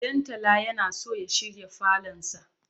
Ɗantala yana so ya shirya falonsa.